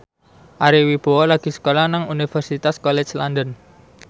Ari Wibowo lagi sekolah nang Universitas College London